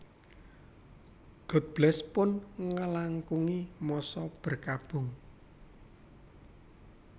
God Bless pun ngelangkungi masa berkabung